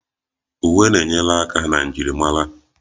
Uwe na-enyere aka na njirimara